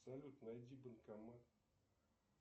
салют найди банкомат